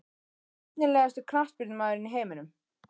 Efnilegasti knattspyrnumaðurinn í heiminum?